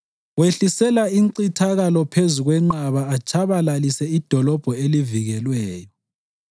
wehlisela incithakalo phezu kwenqaba atshabalalise idolobho elivikelweyo.